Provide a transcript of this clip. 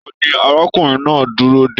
Taní arákùnrin náà n dúró dé?